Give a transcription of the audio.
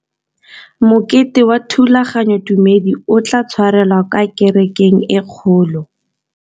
Mokete wa thulaganyôtumêdi o tla tshwarelwa kwa kerekeng e kgolo.